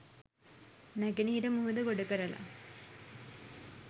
නැගෙනහිර මුහුද ගොඩ කරලා